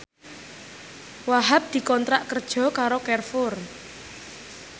Wahhab dikontrak kerja karo Carrefour